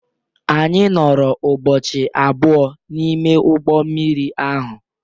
Anyị nọrọ ụbọchị abụọ n'ime ụgbọ mmiri ahụ